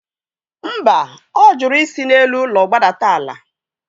Mba, ọ jụrụ isi n'elu ụlọ gbadata ala